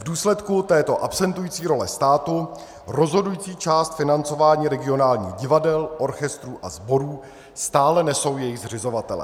V důsledku této absentující role státu rozhodující část financování regionálních divadel, orchestrů a sborů stále nesou jejich zřizovatelé.